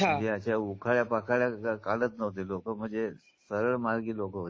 म्हणजे उखाळ्यापाखाळ्या काढत नव्हते लोक म्हणजे सरळमार्गी लोक होती.